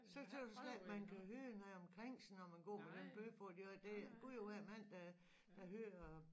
Så tøs jeg slet ikke man kan høre noget omkring sig når man går med den bøf på det og det Gud og hver mand der der hører